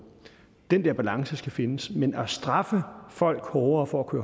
den der balance skal findes men at straffe folk hårdere for at